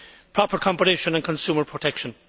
proper competition and consumer protection.